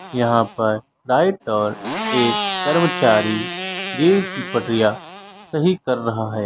यहां पर दाई ओर एक कर्मचारी रेल की पटरियां सही कर रहा है।